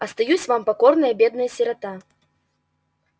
остаюсь вам покорная бедная сирота